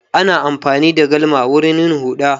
Ana amfani da galma wurin yin huɗa.